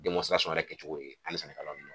yɛrɛ kɛcogo o ye an ni sɛnɛkɛlaw